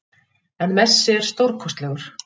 En Messi er stórkostlegur